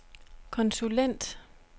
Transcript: konsulent